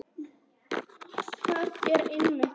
Með mikið eða lítið hár?